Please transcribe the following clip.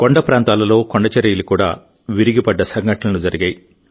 కొండ ప్రాంతాలలో కొండచరియలు కూడా విరిగిపడ్డ సంఘటనలు జరిగాయి